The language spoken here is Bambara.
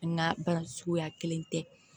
An ka baara suguya kelen tɛ